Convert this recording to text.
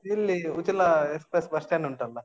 ಇಲ್ಲಿ Uchila express bus stand ಉಂಟಲ್ಲಾ?